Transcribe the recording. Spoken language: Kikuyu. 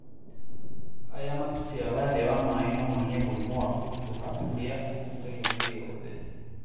Arĩa matubĩraga thĩ wa maĩ no magĩe mũrimũ wa kũritũha ũrĩa ũhutagia mwĩrĩ wothe.